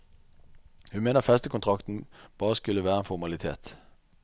Hun mener festekontrakten bare skulle være en formalitet.